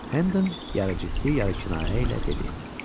Hennon yarı ciddi, yarı kinayə ilə dedi: